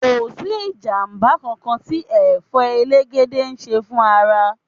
Kò sí ìjàmbá kankan tí Ẹ̀fọ́ elegede ń ṣe fún ara.